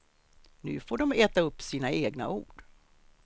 Nu får de äta upp sina egna ord.